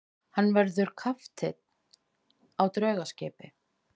Hann verður kapteinn á draugaskipi.